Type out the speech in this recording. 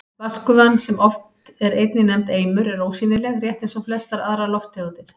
Vatnsgufan, sem oft er einnig nefnd eimur, er ósýnileg, rétt eins og flestar aðrar lofttegundir.